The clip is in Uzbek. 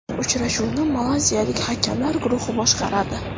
Uchrashuvni malayziyalik hakamlar guruhi boshqaradi .